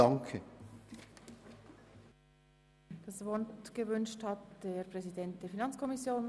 Ich erteile dem Kommissionspräsidenten der FiKo das Wort.